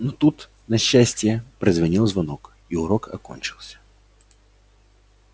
но тут на счастье прозвенел звонок и урок окончился